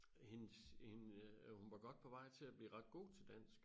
Hendes hende øh hun var godt på vej til at blive ret god til dansk